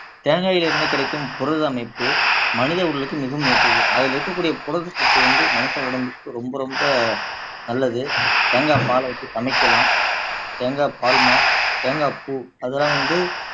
தேங்காயில் இருந்து கிடைக்கும் புரத அமைப்பு மனித உடலுக்கு மிகவும் ஏற்றது அதுல இருக்கக்கூடிய புரதச்சத்து வந்து மனித உடம்புக்கு ரொம்ப ரொம்ப நல்லது தேங்காய் பாலை வச்சு சமைக்கலாம் தேங்கா பால்மா தேங்காய் பூ அதெல்லாம் வந்து